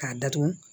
K'a datugu